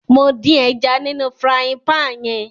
Mo dín ẹja nínú frying pan yẹn